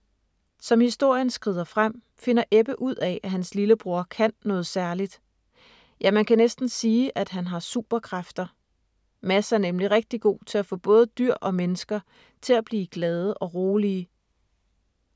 Som historien skrider frem, finder Ebbe ud af, at hans lillebror kan noget særligt. Ja, man kan næsten sige, at han har superkræfter. Mads er nemlig rigtig god til at få både dyr og mennesker til at blive glade og rolige.